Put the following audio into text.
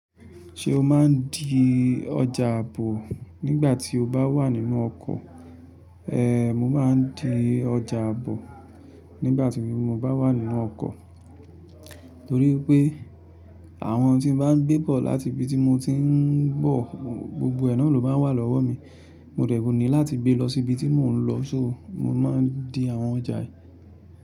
Ṣé o máa ń di ọjà àbọ̀ nígbà tí o bá wà nínú ọkọ̀? Ehn, mo máa ń di ọjà àbọ̀ nígbàtí mo bá wà nínú ọkọ̀. Torí pé àwọn tí mo bá ń gbé bọ̀ láti ibi tí mo ti ń bọ̀, gbogbo ẹ̀náà ló máa wà lọ́wọ́ mi. Ko dẹ̀ wú mi láti gbé lọ sí ibi tí mò ń lọ sóo mo máa ń di àwọn ọjà yìí.